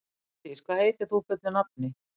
Heiðdís, hvað heitir þú fullu nafni?